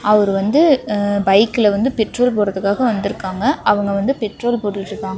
அவர் வந்து அ பைக்ல பெட்ரோல் போடறதுக்காக வந்திருக்காங்க அவங்க வந்து பெட்ரோல் போட்டுட்ருக்காங்க.